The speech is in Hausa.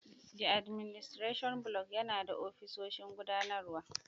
The Administration Block yana da ofisoshin gudanarwa.